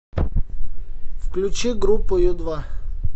включи группу ю два